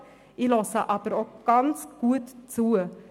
Ich höre der Diskussion jetzt sehr gut zu.